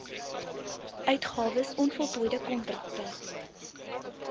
uitgawes onvoltooide kontrakte